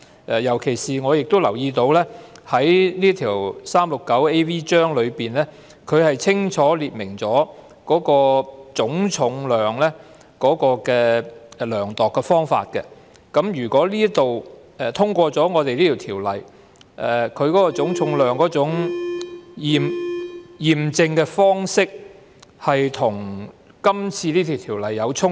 此外，我亦留意到第 369AV 章清楚列明量度的方法是總重量，所以一旦《條例草案》獲得通過，這種涉及總重量的驗證方式將與《條例草案》出現衝突。